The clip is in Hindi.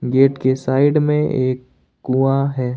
गेट के साइड में एक कुआं है।